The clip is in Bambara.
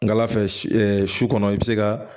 Ngala fɛ si ɛ su kɔnɔ i be se ka